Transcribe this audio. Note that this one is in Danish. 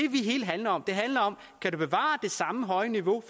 hele handler om det handler om kan du bevare det samme høje niveau